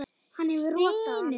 Hann hefur rotað hann!